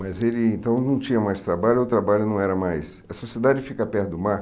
Mas ele, então, não tinha mais trabalho ou o trabalho não era mais... Essa cidade fica perto do mar?